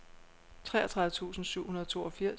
treogtredive tusind syv hundrede og toogfirs